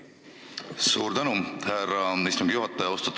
Suur tänu, härra istungi juhataja!